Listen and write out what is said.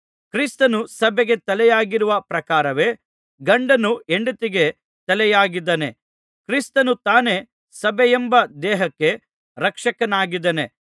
ಕ್ರಿಸ್ತನು ಸಭೆಗೆ ತಲೆಯಾಗಿರುವ ಪ್ರಕಾರವೇ ಗಂಡನು ಹೆಂಡತಿಗೆ ತಲೆಯಾಗಿದ್ದಾನೆ ಕ್ರಿಸ್ತನು ತಾನೇ ಸಭೆಯೆಂಬ ದೇಹಕ್ಕೆ ರಕ್ಷಕನಾಗಿದ್ದಾನೆ